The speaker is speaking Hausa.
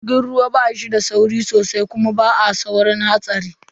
Jirgin ruwa ba yi da sauri sosai kuma ba a saurin hatsari.